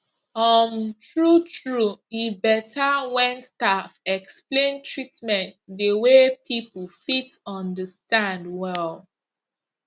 um true true e better when staff explain treatment the way people fit understand well